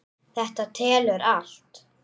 Þetta telur allt.